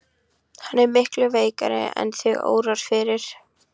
Hann er miklu veikari en þig órar fyrir.